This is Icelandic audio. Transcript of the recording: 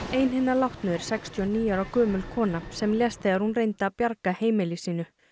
ein hinna látnu er sextíu og níu ára gömul kona sem lést þegar hún reyndi að bjarga heimili sínu